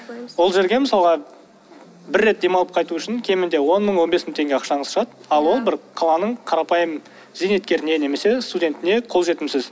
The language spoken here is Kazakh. ол жерге мысалға бір рет демалып қайту үшін кемінде он мың он бес мың теңге ақшаңыз шығады ал ол бір қаланың қарапайым зейнеткеріне немесе студентіне қолжетімсіз